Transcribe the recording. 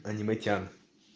аниме тян